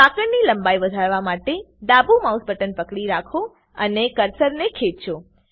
સાંકળની લંબાઈ વધારવા માટે ડાબું માઉસ બટન પકડી રાખો અને કર્સર ને ખેંચો